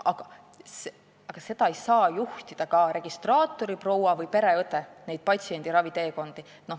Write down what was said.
Aga neid patsiendi raviteekondi ei saa juhtida registraatoriproua või pereõde.